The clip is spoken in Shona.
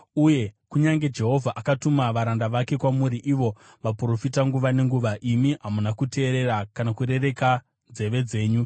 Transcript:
Uye kunyange Jehovha akatuma varanda vake kwamuri ivo vaprofita nguva nenguva, imi hamuna kuteerera kana kurereka nzeve dzenyu.